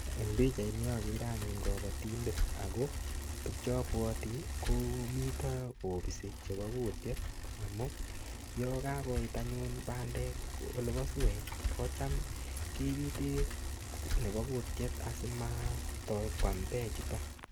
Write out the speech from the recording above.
Eng pichait nii akere kabatindet ako tukchapwati koo miita kopisii chepa kutiet amuu yakakoit bandek olapaa suwet kocham kebite nepo kutiet asimat toi kwam peek chutak